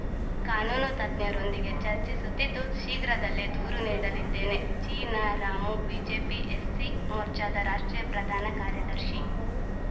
ಕಾನೂನು ತಜ್ಞರೊಂದಿಗೆ ಚರ್ಚಿಸುತ್ತಿದ್ದು ಶೀಘ್ರದಲ್ಲೇ ದೂರು ನೀಡಲಿದ್ದೇನೆ ಚಿನಾರಾಮು ಬಿಜೆಪಿ ಎಸ್‌ಸಿ ಮೋರ್ಚಾದ ರಾಷ್ಟ್ರೀಯ ಪ್ರಧಾನ ಕಾರ್ಯದರ್ಶಿ